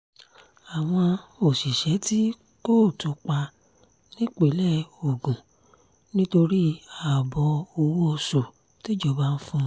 àwọn òṣìṣẹ́ tí kóòtù pa nípínlẹ̀ ogun nítorí ààbọ̀ owó oṣù tíjọba ń fún wọn